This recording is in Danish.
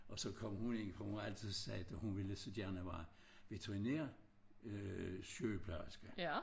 Og så kom hun ind for hun har altid sagt at hun ville så gerne være veterinær øh sygeplejerske